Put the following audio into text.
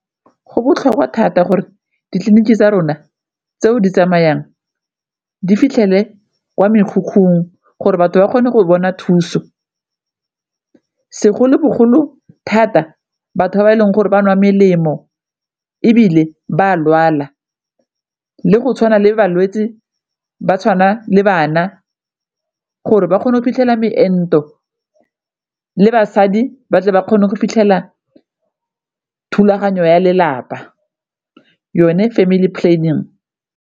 Go botlhokwa thata gore ditleliniki tsa rona tseo di tsamayang di fitlhelele kwa mekhukhung gore batho ba kgone go bona thuso, segolobogolo thata batho ba ba e leng gore ba nwa melemo ebile ba a lwala, le go tshwana le balwetse ba tshwana le bana gore ba kgone go iphitlhela meento le basadi ba tle ba kgone go fitlhelela thulaganyo ya lelapa yone family planning.